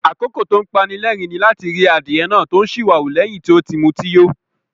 Àkókò tó ń pani lẹ́rìn-ín ni láti ri adìyẹ náà tó ń ṣìwàwù lẹ́yìn tí ó ti mutí yó.